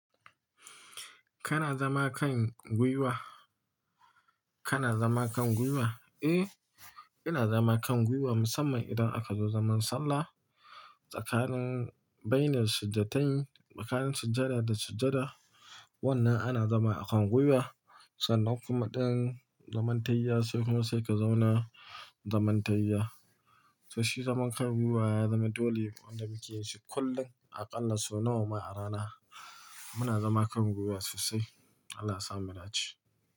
Kana zama kan gwiwa? Kana zama kan gwiwa? Eh, ina zama kan gwiwa musamman idan aka zo zaman sallah tsakanin bainel sujjatain, tsakanin sujjada da sujjada, wannan ana zama a kan gwiwa sanan kuma dan zaman tahiya sai kuma sai ka zauna zaman tahiya. To shi zaman kan gwiwa ya zama dole ne wanda muke yi shi kullum aƙalla sau nawa ma a rana. Muna zama kan gwiwa sosai. Allah yasa mu dace.